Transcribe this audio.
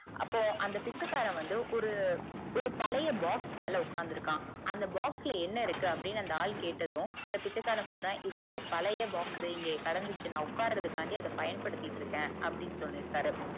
அப்போ அந்த பிச்சைக்காரன் வந்துஒரு ஒரு பழைய box மேல உக்காந்து இருக்கான் அந்த box ல என்ன இருக்கு அப்புடின்னு அந்த ஆள்ள கேட்டதும் அந்த பிச்சைக்காரன் சொல்றான் இது இங்க பழைய box இங்க கெடந்துச்சு நா உட்காரதுக்காண்டி பயன்படுத்திட்டு இருக்கேன் அப்புடின்னு சொல்லிருக்கரு